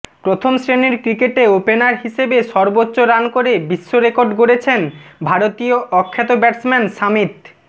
প্রথম শ্রেণির ক্রিকেটে ওপেনার হিসেবে সর্বোচ্চ রান করে বিশ্ব রেকর্ড গড়েছেন ভারতীয় অখ্যাত ব্যাটসম্যান সামিত